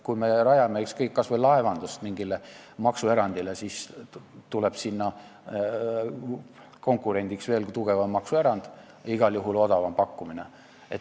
Kui me rajame mingi maksuerandi, ükskõik, kas või laevanduses, siis tuleb sinna konkurendiks veelgi tugevam maksuerand, igal juhul odavam pakkumine.